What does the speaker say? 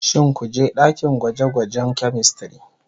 Shin ku je dakin gwaje-gwajen " chemistry"